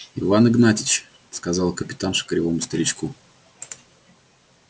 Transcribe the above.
иван игнатьич сказала капитанша кривому старичку